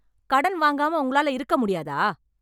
கடன் வாங்காம உங்களால இருக்க முடியாத?